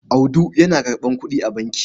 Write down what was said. Audu ya karɓa kuɗi a banki.